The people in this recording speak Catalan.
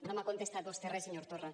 no m’ha contestat vostè res senyor torra